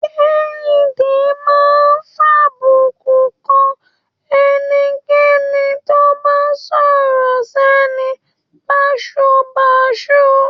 Kehinde máa ń fàbùkùn kan ẹnikẹ́ni tó bá sọ̀rọ̀ sẹ́ni báṣubàṣu.